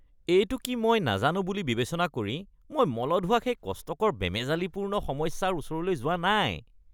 এইটো কি মই নাজানো বুলি বিবেচনা কৰি মই মলত হোৱা সেই কষ্টকৰ বেমেজালিপূৰ্ণ সমস্যাৰ ওচৰলৈ যোৱা নাই।